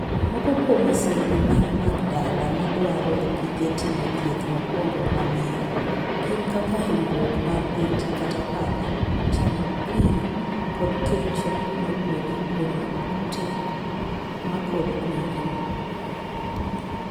Moko kuom masirni ma mag dala, ma dwaro gige timo thieth mokuongo ma awiye , gin kaka hinyruok mar beti kata pala, chamo kwiri, kod kecho mawuok kuom kute ma kod kwiri.